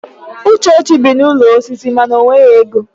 Uchechi bi n'ụlọ osisi maka na o nweghị ego.